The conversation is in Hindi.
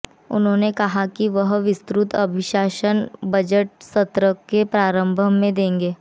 उन्होंने कहा कि वह विस्तृत अभिभाषण बजट सत्र के आरंभ में देंगे